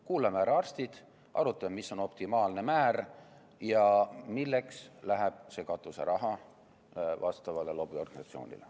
Kuulame ära arstid, arutame, mis on optimaalne määr ja milleks läheb see katuseraha vastavale lobiorganisatsioonile.